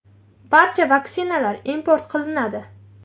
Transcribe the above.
Barcha vaksinalar import qilinadi.